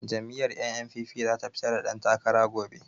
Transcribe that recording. Jam'iyyar NNPP za ta fitar da dantakara gobe.